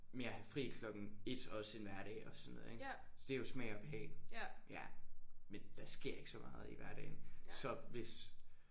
Med at have fri klokken 1 også en hverdag og sådan noget ik. Så det er jo smag og behag ja men der sker ikke så meget i hverdagen så hvis